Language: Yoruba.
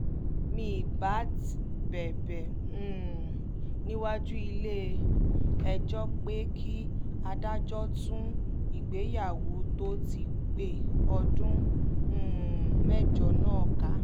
mìíbat bẹbẹ um níwájú ilé-ẹjọ́ pé kí adájọ́ tú ìgbéyàwó tó ti pé ọdún um mẹ́jọ náà ká